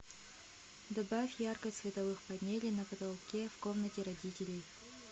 добавь яркость световых панелей на потолке в комнате родителей